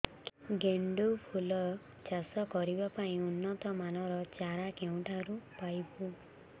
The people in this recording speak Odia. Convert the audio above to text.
ଗେଣ୍ଡୁ ଫୁଲ ଚାଷ କରିବା ପାଇଁ ଉନ୍ନତ ମାନର ଚାରା କେଉଁଠାରୁ ପାଇବୁ